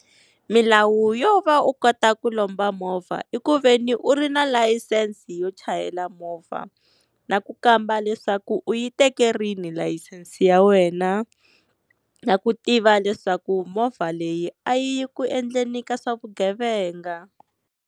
Milawu yo va u kota ku lomba movha i ku veni u ri na layisense yo chayela movha na ku kamba leswaku u yi teke rini layisense ya wena na ku tiva leswaku movha leyi a yi ku endleni ka swa vugevenga